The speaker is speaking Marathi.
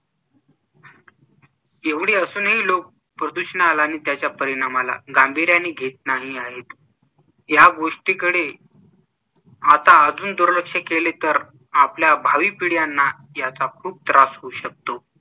एवढे असूनही लोक प्रदूषणाला आणि त्याच्या परिणामाला गांभीर्याने घेत नाही आहेत. या गोष्टीकडे आता अजून दुर्लक्ष केले तर आपल्या भावी पिढयांना याचा खूप त्रास होऊ शकतो.